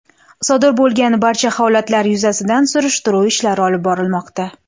Sodir bo‘lgan barcha holatlar yuzasidan surishtiruv ishlari olib borilmoqda.